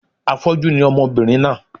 Afọ́jú ni ọmọbìnrin náà